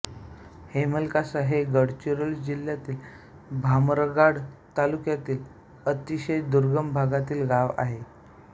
हेमलकासा हे गडचिरोली जिल्ह्यातील भामरागड तालुक्यातील अतिशय दुर्गम भागातील गाव आहे